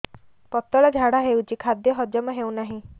ପତଳା ଝାଡା ହେଉଛି ଖାଦ୍ୟ ହଜମ ହେଉନାହିଁ